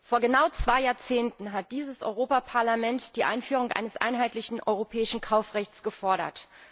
Vor genau zwei Jahrzehnten hat dieses Europaparlament die Einführung eines einheitlichen europäischen Kaufrechts gefordert.